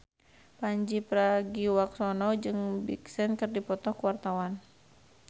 Pandji Pragiwaksono jeung Big Sean keur dipoto ku wartawan